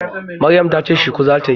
Maryam ta ce shuku za ta yi.